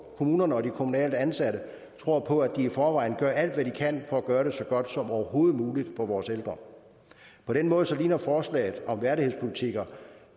kommunerne og de kommunalt ansatte og tror på at de i forvejen gør alt hvad de overhovedet kan for at gøre det så godt som overhovedet muligt for vores ældre på den måde ligner forslaget om værdighedspolitikker